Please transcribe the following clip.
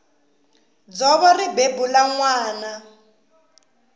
dzovo ri bebula nwana